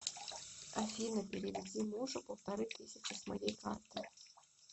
афина переведи мужу полторы тысячи с моей карты